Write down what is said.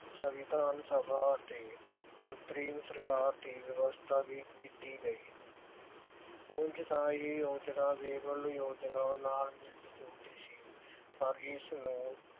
ਸਵਿੰਧਾਨ ਸਭਾ ਤੇ ਅੰਤਰਿਮ ਸਰਕਾਰ ਦੀ ਵਿਅਵਸ਼ਥਾ ਵੀ ਕੀਤੀ ਗਈ ਉਂਝ ਤਾਂ ਇਹ ਯੋਜਨਾ ਨਾਲ ਮਿਲਦੀ ਜੁਲਦੀ ਸੀ ਪਰ ਇਸ ਨੂੰ